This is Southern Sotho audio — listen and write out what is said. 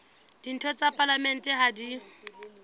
ditho tsa palamente ha di